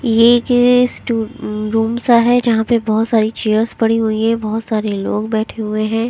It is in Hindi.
ये एक स्टोर रूम सा है जहां पे बहोत सारी चेयर्स पड़ी हुई हैं बहोत सारे लोग बैठे हुए हैं।